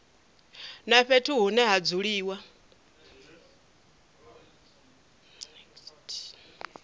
na fhethu hune ha dzuliwa